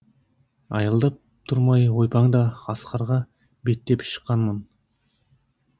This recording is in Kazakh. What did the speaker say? аялдап тұрмай ойпаңда асқарға беттеп шыққанмын